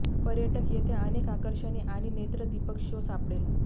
पर्यटक येथे अनेक आकर्षणे आणि नेत्रदीपक शो सापडेल